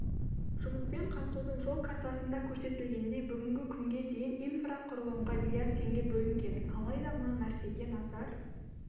жұмыспен қамтудың жол картасында көрсетілгендей бүгінгі күнге дейін инфрақұрылымға миллиард теңге бөлінген алайда мына нәрсеге назар